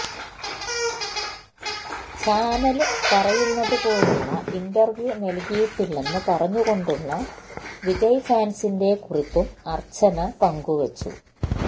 channel പറയുന്നതുപോലുള്ള interview നല്കിയിട്ടില്ലെന്ന് പറഞ്ഞുകൊണ്ടുള്ള വിജയ് ഫാന്സിന്റെ കുറിപ്പും അര്ച്ചന പങ്കുവെച്ചു